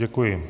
Děkuji.